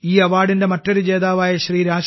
ഈ അവാർഡിന്റെ മറ്റൊരു ജേതാവായ ശ്രീ